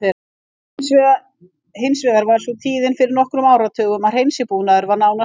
Hins vegar var sú tíðin fyrir nokkrum áratugum að hreinsibúnaður var nánast enginn.